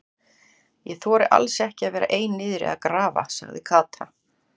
Ég þori alls ekki að vera ein niðri að grafa sagði Kata.